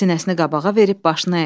Sinəsini qabağa verib başını əydi.